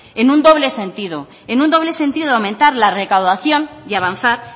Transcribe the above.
en un doble sentido aumentar la recaudación y avanzar